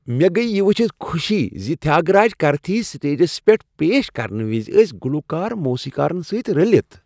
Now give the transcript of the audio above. مےٚ گٔیۍ یہ وُچھتھ خوشی زِ تھیاگراج کرتھی سٹیجس پیٹھ پیش کرنہٕ وز ٲسۍ گلوکار موسیقارن سۭتۍ رٔلِتھ۔